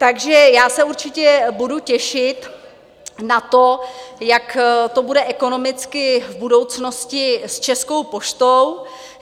Takže já se určitě budu těšit na to, jak to bude ekonomicky v budoucnosti s Českou poštou.